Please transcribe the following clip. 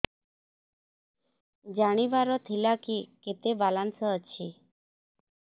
ଜାଣିବାର ଥିଲା କି କେତେ ବାଲାନ୍ସ ଅଛି